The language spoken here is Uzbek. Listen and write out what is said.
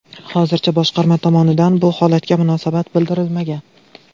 Hozircha boshqarma tomonidan bu holatga munosabat bildirilmagan.